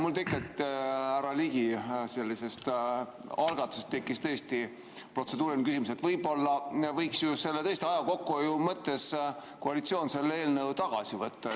Mul tegelikult härra Ligi sellisest algatusest tekkis tõesti protseduuriline küsimus, et võib-olla võiks aja kokkuhoiu mõttes koalitsioon selle eelnõu tagasi võtta.